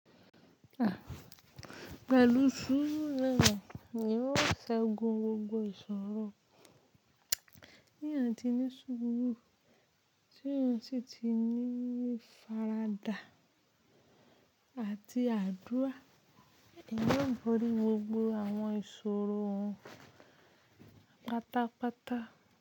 Àa pelu sùùru noni eeyan yóò ṣẹ́gun gbogbo ìṣòro. Ti eeyan tinísúùrù, tí ó títí ní ìfaradà àti àdúrà, yóò borí gbogbo àwọn ìṣòro wọn pátápátá.